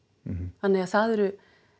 þannig að það eru